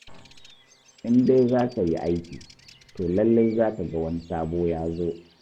In dai za ka yi aiki, to lallai za ka ga wani sabo ya zo.